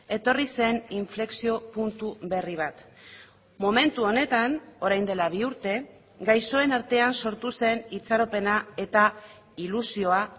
etorri zen inflexio puntu berri bat momentu honetan orain dela bi urte gaixoen artean sortu zen itxaropena eta ilusioa